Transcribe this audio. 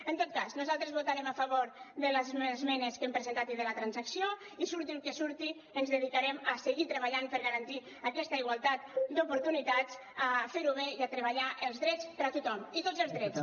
en tot cas nosaltres votarem a favor de les esmenes que hem presentat i de la transacció i surti el que surti ens dedicarem a seguir treballant per garantir aquesta igualtat d’oportunitats a fer ho bé i a treballar els drets per a tothom i tots els drets